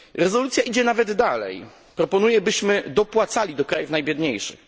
Rezolucja idzie nawet dalej proponuje byśmy dopłacali do krajów najbiedniejszych.